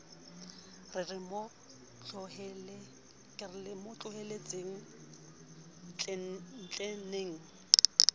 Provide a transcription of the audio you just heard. re re mo tlohelletseng tleneng